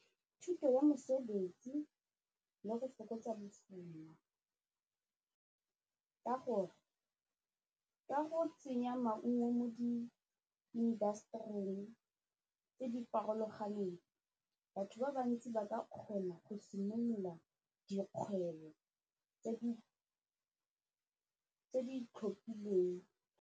Thuto ya mosebetsi le go fokotsa ka gore ka go tsenya maungo mo di-industry-ng tse di farologaneng batho ba bantsi ba ka kgona go simolola dikgwebo tse di itlhophileng.